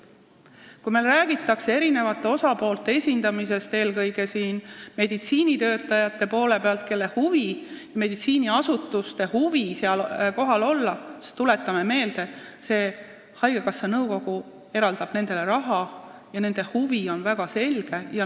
Kui meile räägitakse erinevate osapoolte esindatusest, eelkõige tahavad seal kohal olla meditsiiniasutused, siis tuletame meelde, et haigekassa nõukogu eraldab nendele raha, mistõttu on nende huvi väga selge.